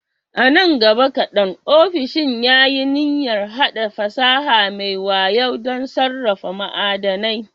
Nan gaba kaɗan, ofishin ya yi niyyar haɗa fasaha mai wayo don sarrafa ma'adanai.